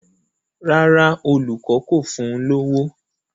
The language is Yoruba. Rárá, olùkọ́ kò fún un lówó.